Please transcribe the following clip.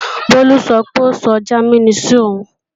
Bólú sọ pé ó sọ Jámínì sí òun